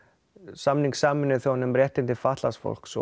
samning Sameinuðu þjóðanna um réttindi fatlaðs fólks